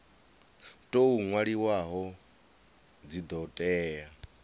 tou nwaliwaho dzi do tea